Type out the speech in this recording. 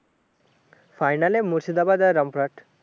final এ মুর্শিদাবাদ আর রামপুরহাট